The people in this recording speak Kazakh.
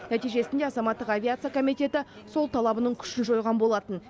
нәтижесінде азаматтық авиация комитеті сол талабының күшін жойған болатын